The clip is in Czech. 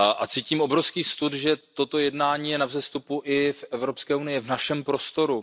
Cítím obrovský stud, že toto jednání je na vzestupu i v Evropské unii, v našem prostoru.